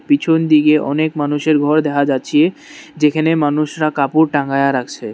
পিছন দিগে অনেক মানুষের ঘর দেখা যাচ্ছে যেইখানে মানুষরা কাপড় টাঙায়া রাখছে।